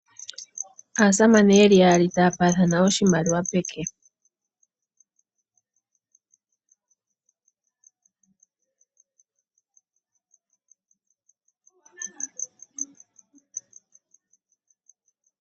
Aasamane yeli yaali taya paathana oshimaliwa pomake .